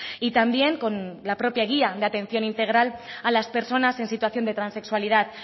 y también con la propia guía de atención integral a las personas en situación de transexualidad